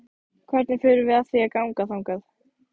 Hvernig förum við að því að ganga þangað?